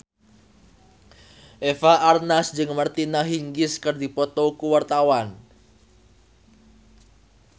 Eva Arnaz jeung Martina Hingis keur dipoto ku wartawan